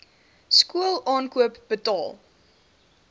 skool aankoop betaal